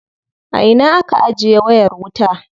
A ina aka ajiye wayar wuta.